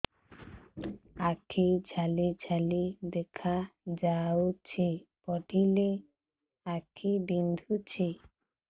ଆଖି ଜାଲି ଜାଲି ଦେଖାଯାଉଛି ପଢିଲେ ଆଖି ବିନ୍ଧୁଛି